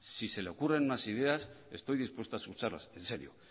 si se le ocurren más ideas estoy dispuesto a escucharlas en serio